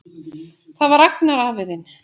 Það var Agnar afi þinn.